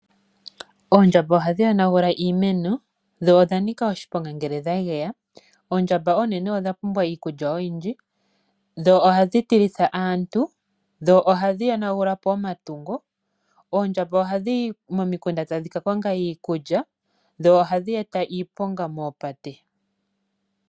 Oondjamba ohadhi yonagula iimeno, dho odhanika oshiponga ngele dhageya. Oondjamba oonene odha pumbwa iikulya oyindji, dho ohadhi tilitha aantu, dho ohadhi yonagula po omatungo. Oondjamba ohadhi yi momikunda tadhi kakonga iikulya, dho ohadhi eta iiponga mopate.